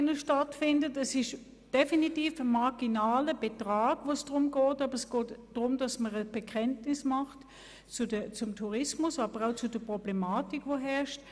Es geht hier definitiv um einen marginalen Betrag, und es geht darum, dass man ein Bekenntnis zur herrschenden Problematik macht.